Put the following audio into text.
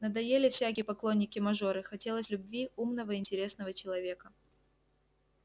надоели всякие поклонники-мажоры хотелось любви умного и интересного человека